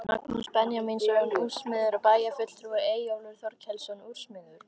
Magnús Benjamínsson úrsmiður og bæjarfulltrúi, Eyjólfur Þorkelsson úrsmiður